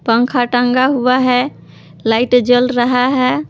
पंखा टंगा हुआ है लाइट जल रहा है।